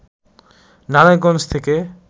নারায়ণগঞ্জ থেকে